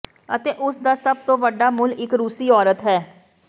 ਅਤੇ ਉਸ ਦਾ ਸਭ ਤੋਂ ਵੱਡਾ ਮੁੱਲ ਇੱਕ ਰੂਸੀ ਔਰਤ ਹੈ